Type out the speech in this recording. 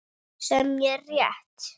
Sem er rétt.